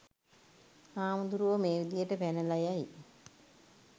හාමුදුරුවෝ මේ විදියට පැනලා යයි